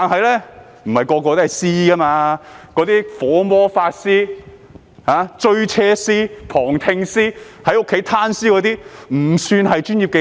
那些"火魔法師"、"追車師"、"旁聽師"或在家"攤屍"的都不算是專業技能。